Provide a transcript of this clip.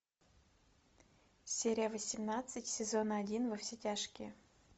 серия восемнадцать сезон один во все тяжкие